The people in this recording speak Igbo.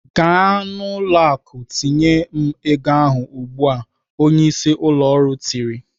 "Gaa n'ụlọ akụ tinyere m ego ahụ ugbu a!" Onyeisi ụlọ ọrụ tiri.